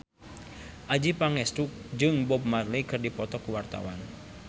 Adjie Pangestu jeung Bob Marley keur dipoto ku wartawan